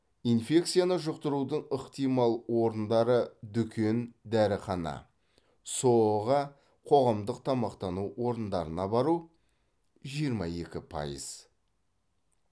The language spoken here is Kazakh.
инфекцияны жұқтырудың ықтимал орындары дүкен дәріхана соо ға қоғамдық тамақтану орындарына бару жиырма екі пайыз